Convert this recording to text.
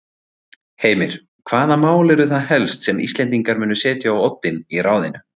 Heimir: Hvaða mál eru það helst sem Íslendingar munu setja á oddinn í ráðinu?